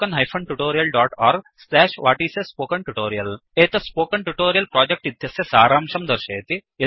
1 एतत् spoken tutorial project इत्यस्य सारांशं दर्शयति